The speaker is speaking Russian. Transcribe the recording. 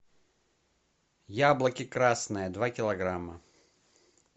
яблоки красные два килограмма